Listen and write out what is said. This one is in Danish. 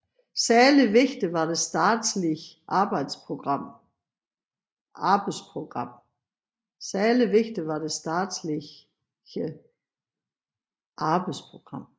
Særlig vigtig var det statslige arbejdsprogram